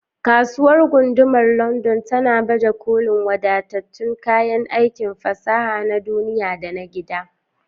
Kasuwar Gundumar London tana baje kolin wadatattun kayan aikin fasaha na duniya da na gida.